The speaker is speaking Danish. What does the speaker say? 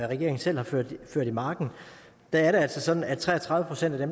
regeringen selv har ført i marken er det altså sådan at tre og tredive procent af